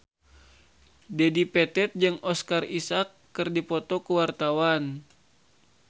Dedi Petet jeung Oscar Isaac keur dipoto ku wartawan